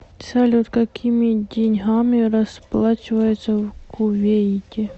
салют какими деньгами расплачиваются в кувейте